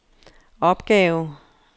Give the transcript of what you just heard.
opgave